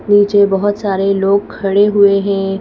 नीचे बहुत सारे लोग खड़े हुए हैं।